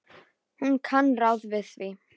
Hún kann ráð við því.